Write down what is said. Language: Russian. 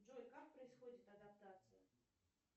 джой как происходит адаптация